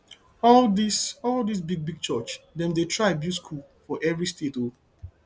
all dis all dis big big church dem dey try build skool for every state o